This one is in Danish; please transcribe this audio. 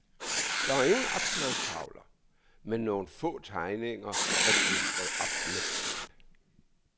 Der ingen opslagstavler, men nogle få tegninger er klistret op med tape.